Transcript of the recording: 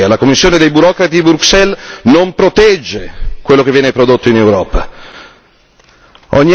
La Sua Commissione europea, la Commissione dei burocrati di Bruxelles non protegge quello che viene prodotto in Europa.